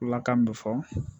Bulakan bɛ fɔ